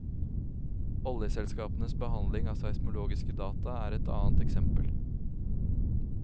Oljeselskapenes behandling av seismologiske data er et annet eksempel.